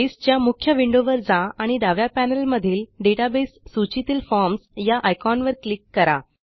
बेसच्या मुख्य विंडोवर जाआणि डाव्या पॅनेलमधील डेटाबेस सूचीतील Formsया आयकॉनवर क्लिक करा